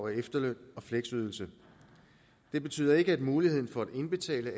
efterløn og fleksydelse det betyder ikke at muligheden for at indbetale